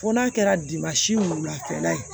Fo n'a kɛra a kɛra yen